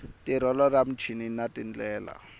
tirhelo ra muchini na tindlela